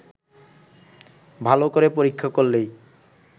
ভাল করে পরীক্ষা করলেই